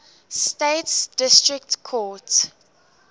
states district court